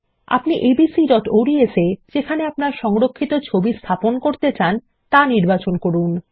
আপনি abcঅডস এ যেখানে আপনার সংরক্ষিত ছবি স্থাপন করতে চান তা নির্বাচন করুন